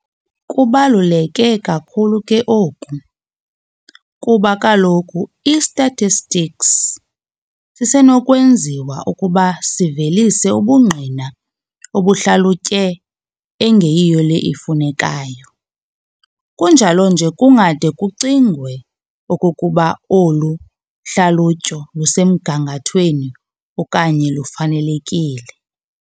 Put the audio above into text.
Kubaluleke kakhulu ke oku, kuba kaloku i-statistics sisenokwenziwa ukuba sivelise ubungqina obuhlalutye engeyiyo le ifunekayo, kunjalo nje kungade kucingwe okokuba olu hlalutyo lusemgangathwei okanye lufanelekile.